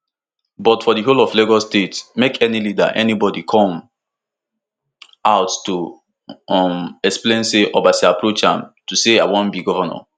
but for di whole of lagos state make any leader anybody come out to um explain say obasa approach am to say i wan be govnor